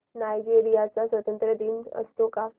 Nigeria चा स्वातंत्र्य दिन असतो का